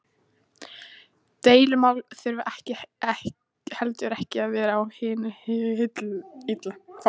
Deilumál þurfa heldur ekki að vera af hinu illa.